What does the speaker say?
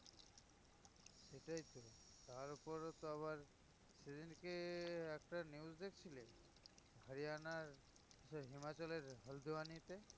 সেটাই তো তারপরে তো আবার হচ্ছে সেদিনকে একটা news দেখছিলে হরিয়ানা হিমাচলের